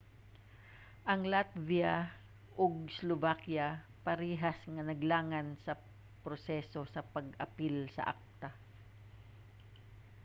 ang latvia ug slovakia parehas nga naglangan sa proseso sa pag-apil sa acta